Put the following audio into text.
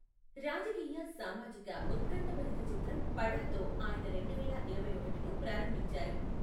రాజకీయ సామాజిక ఉత్కంఠభరిత చిత్రం పడాతో ఆయన రెండువేల ఇరవై ఒకటిను ప్రారంభించారు.